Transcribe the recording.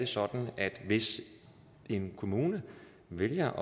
sådan at hvis en kommune vælger